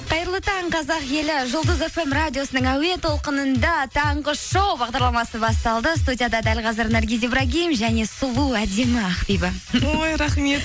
қайырлы таң қазақ елі жұлдыз фм радиосының әуе толқынында таңғы шоу бағдарламасы басталды студияда дәл қазір наргиз ибрагим және сұлу әдемі ақбибі ой рахмет